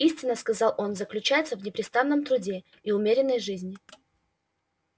истина сказал он заключается в непрестанном труде и умеренной жизни